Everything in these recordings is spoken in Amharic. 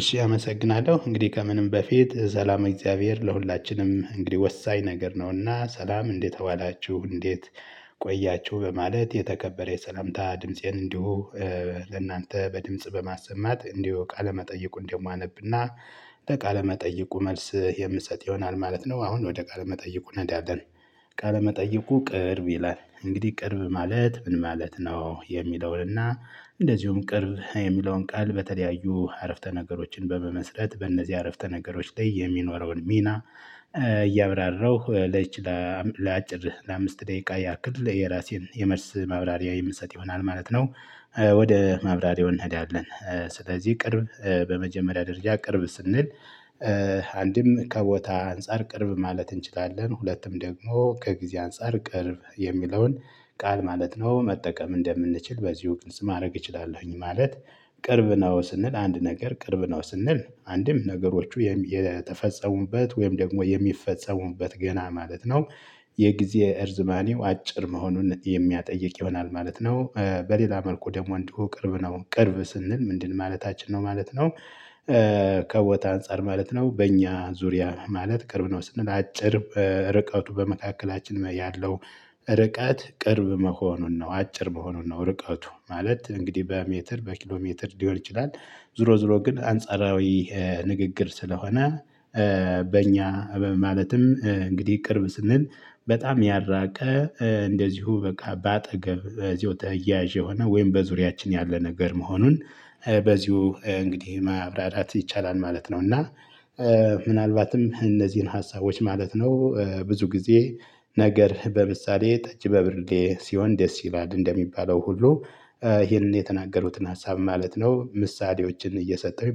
እሺ አመሰግናለሁ እንግዲህ ከምንም በፊት ሰላም እግዚአብሔር ለሁላችንም እንግዲህ ወሳኝ ነገር ነውና ሰላም እንዴት አዋላችሁ እንዴት ቆያችሁ በማለት የተከበረ የሰላምታ ድምፄን እንዲሁ። ለእናንተ በድምጽ በማሰማት እንዲሁ ቃለመጠየቁ እንዲሁም አነብና ለቃለመጠይቁ መልስ የምሰጥ ይሆናል ማለት ነው አሁን ወደ ቃለ መጠይቁ እንሄዳለን። ቃለ መጠይቁ ቅርብ ይላል እንግዲህ ቅርብ ማለት ምን ማለት ነው? የሚለውንና እንደዚሁም ቅርብ የሚለውን ቃል በተለያዩ አረፍተ ነገሮችን በመመስረት በእነዚህ አረፍተ ነገሮች ላይ የሚኖረውን ሚና እያብራራሁ ለዚች ለአጭር ለአምስት ደቂቃ ያክል የራሴን የመልስ ማብራሪያ የምሰጥ ይሆናል ማለት ነው። ወደ ማብራሪያው እንሄዳለን። ስለዚህ ቅርብ በመጀመሪያ ደረጃ ቅርብ ስንል አንድም ከቦታ አንፃር ቅርብ ማለት እንችላለን ሁለቱም ደግሞ ከጊዜ አንፃር ቅርብ የሚለውን ቃል ማለት ነው መጠቀም እንደምንችል በዚሁ ግልጽ ማድረግ እችላለሁኝ ማለት። ቅርብ ነው ስንል አንድ ነገር ቅርብ ነው ስንል አንድም ነገሮቹ የተፈጸሙበት ወይም ደግሞ የሚፈጸሙበት ገና ማለት ነው። የጊዜ እርዝማኔው አጭር መሆኑን የሚያጠይቅ ይሆናል ማለት ነው። በሌላ መልኩ ደግሞ እንዲሁ ቅርብ ነው ቅርብ ስንል ምንድን ማለታችን ነው ማለት ነው? ከቦታ አንፃር ማለት ነው በእኛ ዙሪያ ማለት ቅርብ ነው ስንል አጭር ርቀቱ በመካከላችን ያለው ርቀት ቅርብ መሆኑን ነው አጭር በሆኑን ነው ርቀቱ ማለት እንግዲህ በሜትር በኪሎ ሜትር ሊሆን ይችላል። ዞሮ ዞሮ ግን አንጻራዊ ንግግር ስለሆነ በእኛ ማለትም እንግዲህ ቅርብ ስንል በጣም ያራቀ እንደዚሁ በቃ በአጠገብ በዚሁ ተያያዥ የሆነ ወይም በዙሪያችን ያለ ነገር መሆኑን በዚሁ እንግዲህ ማብራራት ይቻላል ማለት ነው። እና ምናልባትም እነዚህን ሀሳቦች ማለት ነው ብዙ ጊዜ ነገር በምሳሌ ጠጅ በብርሌ ሲሆን ደስ ይላል እንደሚባለው ሁሉ ይሄንን የተናገሩትን ሀሳብ ማለት ነው ምሳሌዎችን እየሰጠሁኝ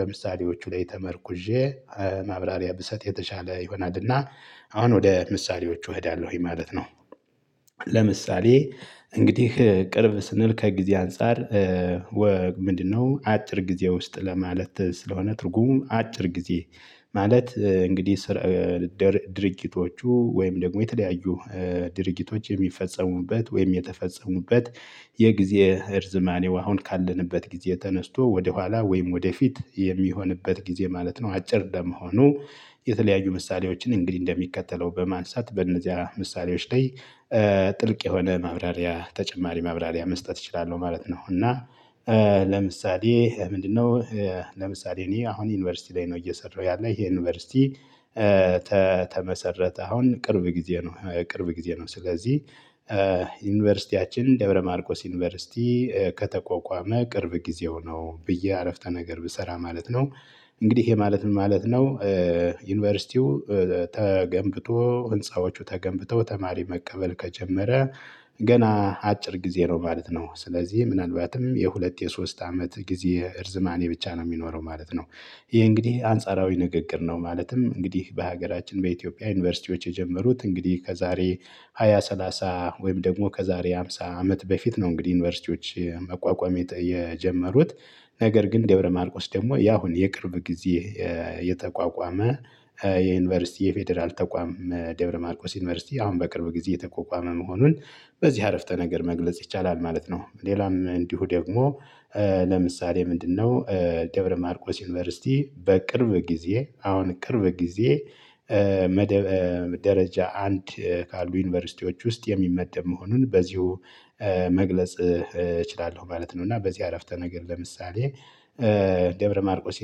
በምሳሌዎቹ ላይ ተመርኩዤ ማብራሪያ ብሰጥ የተሻለ ይሆናልና አሁን ወደ ምሳሌዎቹ እሄዳለሁኝ ማለት ነው። ለምሳሌ እንግዲህ ቅርብ ስንል ከጊዜ አንፃር ምንድነው? አጭር ጊዜ ውስጥ ለማለት ስለሆነ ትርጉም አጭር ጊዜ ማለት እንግዲህ ድርጊቶቹ ወይም ደግሞ የተለያዩ ድርጊቶች የሚፈጸሙበት ወይም የተፈጸሙበት የጊዜ እርዝማኔው አሁን ካለንበት ጊዜ ተነስቶ ወደኋላ ወይም ወደፊት የሚሆንበት ጊዜ ማለት ነው። አጭር ለመሆኑ የተለያዩ ምሳሌዎችን እንግዲህ እንደሚከተለው በማንሳት በእነዚያ ምሳሌዎች ላይ ጥልቅ የሆነ ማብራሪያ ተጨማሪ ማብራሪያ መስጠት እችላለሁ ማለት ነው። እና ለምሳሌ ምንድነው? ለምሳሌ እኔ አሁን ዩኒቨርሲቲ ላይ ነው እየሰራሁ ያለ ይሄ ዩኒቨርሲቲ ተመሰረተ አሁን ቅርብ ጊዜ ነው ቅርብ ጊዜ ነው ስለዚህ ዩኒቨርሲቲያችን ደብረ ማርቆስ ዩኒቨርሲቲ ከተቆቋመ ቅርብ ጊዜው ነው ብዬ አረፍተ ነገር ብሰራ ማለት ነው። እንግዲህ ይሄ ማለት ምን ማለት ነው? ዩኒቨርሲቲው ተገንብቶ ህንፃዎቹ ተገንብተው ተማሪ መቀበል ከጀመረ ገና አጭር ጊዜ ነው ማለት ነው። ስለዚህ ምናልባትም የሁለት የሶስት አመት ጊዜ እርዝማኔ ብቻ ነው የሚኖረው ማለት ነው። ይሄ እንግዲህ አንጻራዊ ንግግር ነው ማለትም እንግዲህ በሀገራችን በኢትዮጵያ ዩኒቨርሲቲዎች የጀመሩት እንግዲህ ከዛሬ ሃያ ሰላሳ ወይም ደግሞ ከዛሬ ሃምሳ አመት በፊት ነው እንግዲህ ዩኒቨርሲቲዎች መቋቋም የጀመሩት። ነገር ግን ደብረማርቆስ ደግሞ ያሁን የቅርብ ጊዜ የተቋቋመ የዩኒቨርሲቲ የፌደራል ተቋም ደብረ ማርቆስ ዩኒቨርሲቲ አሁን በቅርብ ጊዜ የተቋቋመ መሆኑን በዚህ አረፍተ ነገር መግለጽ ይቻላል ማለት ነው። ሌላም እንዲሁ ደግሞ ለምሳሌ ምንድነው? ደብረ ማርቆስ ዩኒቨርሲቲ በቅርብ ጊዜ አሁን ቅርብ ጊዜ ደረጃ አንድ ካሉ ዩኒቨርሲቲዎች ውስጥ የሚመደብ መሆኑን በዚሁ መግለጽ እችላለሁ ማለት ነው። እና በዚህ አረፍተ ነገር ለምሳሌ። ደብረ ማርቆስ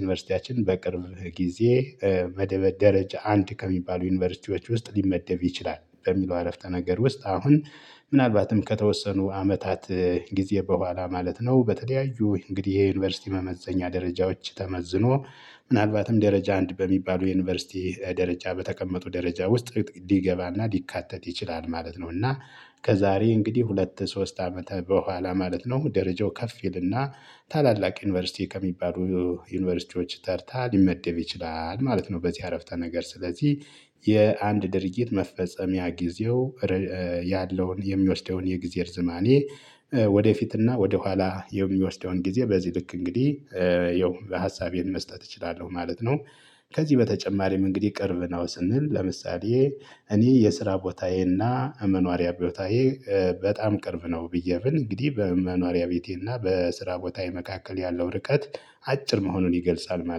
ዩኒቨርሲቲያችን በቅርብ ጊዜ ደረጃ አንድ ከሚባሉ ዩኒቨርሲቲዎች ውስጥ ሊመደብ ይችላል በሚለው አረፍተ ነገር ውስጥ አሁን ምናልባትም ከተወሰኑ አመታት ጊዜ በኋላ ማለት ነው በተለያዩ እንግዲህ የዩኒቨርሲቲ መመዘኛ ደረጃዎች ተመዝኖ ምናልባትም ደረጃ አንድ በሚባሉ የዩኒቨርሲቲ ደረጃ በተቀመጡ ደረጃ ውስጥ ሊገባና ሊካተት ይችላል ማለት ነው። እና ከዛሬ እንግዲህ ሁለት ሶስት አመት በኋላ ማለት ነው ደረጃው ከፍ ይልና ታላላቅ ዩኒቨርሲቲ ከሚባሉ ዩኒቨርሲቲዎች ተርታ ሊመደብ ይችላል ማለት ነው። በዚህ አረፍተ ነገር ስለዚህ የአንድ ድርጊት መፈጸሚያ ጊዜው ያለውን የሚወስደውን የጊዜ እርዝማኔ ወደፊትና ወደኋላ የሚወስደውን ጊዜ በዚህ ልክ እንግዲህ ያው ሀሳቤን መስጠት እችላለሁ ማለት ነው። ከዚህ በተጨማሪም እንግዲህ ቅርብ ነው ስንል ለምሳሌ እኔ የስራ ቦታዬና መኖሪያ ቦታዬ በጣም ቅርብ ነው ብዬ ብል እንግዲህ በመኗሪያ ቤቴና በስራ ቦታዬ መካከል ያለው ርቀት አጭር መሆኑን ይገልጻል ማለት ነው